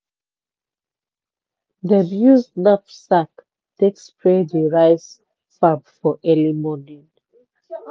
dem use knapsak take spray the rice farm for early morning.